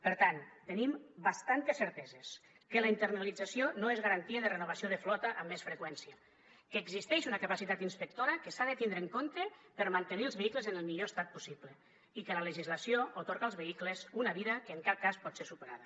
per tant tenim bastantes certeses que la internalització no és garantia de renovació de flota amb més freqüència que existeix una capacitat inspectora que s’ha de tindre en compte per mantenir els vehicles en el millor estat possible i que la legislació atorga als vehicles una vida que en cap cas pot ser superada